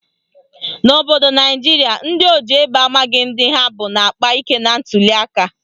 N'obodo Naijiria, ndị oji egbe amaghị ndị ha bụ na-akpa ike na ntuliaka